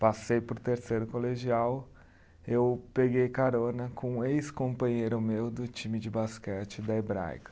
Passei para o terceiro colegial, eu peguei carona com um ex-companheiro meu do time de basquete da Hebraica.